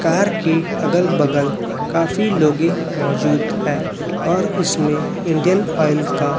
car की अगल बगल काफी लोगे मौजूद हैं और इसमें इंडियन ऑयल का--